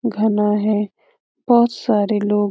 घना है। बहुत सारे लोग --